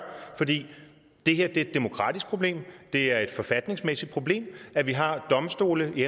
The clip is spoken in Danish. for det er et demokratisk problem det er et forfatningsmæssigt problem at vi har domstole i